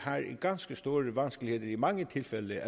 i mange tilfælde